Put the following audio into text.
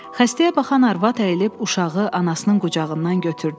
Xəstəyə baxan arvad əyilib uşağı anasının qucağından götürdü.